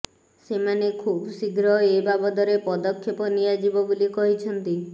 ସେମାନେ ଖୁବ ଶୀଘ୍ର ଏ ବାବଦରେ ପଦକ୍ଷପ ନିଆଯିବ ବୋଲି କହିଛନ୍ତି